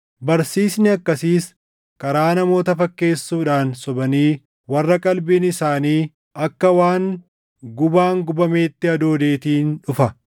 Barsiisni akkasiis karaa namoota fakkeessuudhaan sobanii warra qalbiin isaanii akka waan gubaan gubameetti hadoodeetiin dhufa.